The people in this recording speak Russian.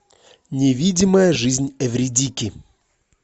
невидимая жизнь эвридики